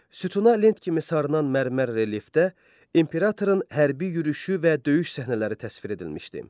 Sütuna lent kimi sarınan mərmər relyefdə imperatorun hərbi yürüşü və döyüş səhnələri təsvir edilmişdi.